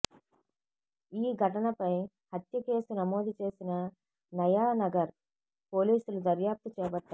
ఈ ఘటనపై హత్య కేసు నమోదుచేసిన నయా నగర్ పోలీసులు దర్యాప్తు చేపట్టారు